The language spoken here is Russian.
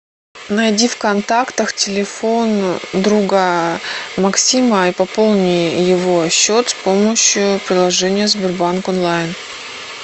найди в контактах телефон друга максима и пополни его счет с помощью приложения сбербанк онлайн